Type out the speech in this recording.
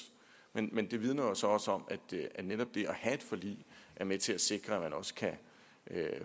men det vidner så også om at netop det at have et forlig er med til at sikre at man også kan